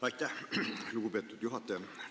Aitäh, lugupeetud juhataja!